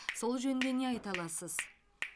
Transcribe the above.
сол жөнінде не айта аласыз